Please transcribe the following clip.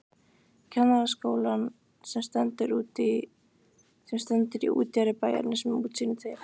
Kennaraskólann sem stendur í útjaðri bæjarins með útsýni til